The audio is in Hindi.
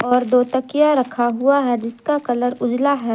और दो तकिया रखा हुआ है जिसका कलर उजाला है।